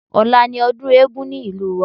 Ọ̀la ni ọdún eégún ní ìlú wa